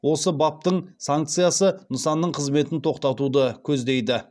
осы баптың санкциясы нысанның қызметін тоқтатуды көздейді